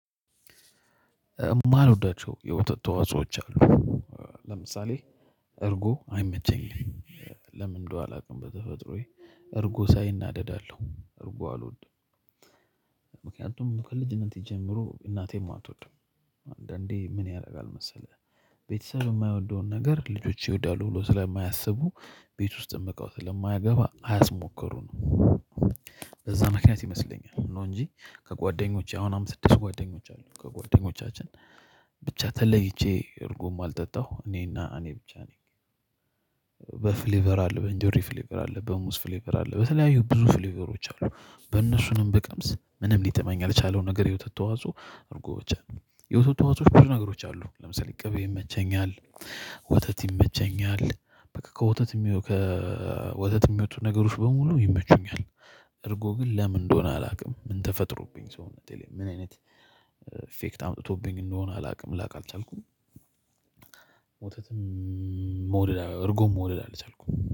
ማልወዳቸው የወተት ተዋጽኦዎች አሉ ለምሳሌ እርጉ አይመቸኝም። ለምን እንደው አላውቅም በተፈጥሮዬ እርጎ ሳይ እናደዳለሁ እርጎ አልወድም ምክንያቱም ከልጅነት ጀምሮ እናቴም አትወድም አንዳንዴ ምን ያደርጋል መሰለህ? ቤተሰብ የማይወደውን ነገር ልጆች ይወዳሉ ብሎ ስለማያስቡ ቤት ውስጥ እቃው ስለማያገባ አያስሞክሩንም። እዛ ምክንያት ይመስለኛል ነው እንጂ ከጓደኞቼ አሁን አምስት ስድስት ጓደኞች አሉ ከጓደኞቻችን ብቻ ተለይቼ እርጉም አልጠጣሁ እኔና እኔ ብቻ ነኝ። በፍሌቨር አለ በኢንጆሪ ፍሌቨር አለ በሙዝ ፍሌቨር አለ በተለያዩ ብዙ ፍሌቨሮች አሉ። በእነሱንም በቀምስ ምንም ሊጥመኝ ያልቻለው ነገር የወተት ተዋጽኦ አርጎ ብቻ የወተት ተዋጽኦ ብቻ ነገሮች አሉ ለምሳሌ ቅቤ ይመቸኛል። ወተት ይመቸኛል በቃ ከወተት የሚወጡ ነገሮች በሙሉ ይመቹኛል። እርጎ ግን ለምን እንደሆነ አላውቅም ምን ተፈጥሮብኝ ሰውነቴ ላይ ምን አይነት ኢፌክት አምጥቶብኝ እንደሆነ አላውቅም ላቅ አልቻልኩም። ወተትም መውደድ እርጎም መውደድ አልቻልኩም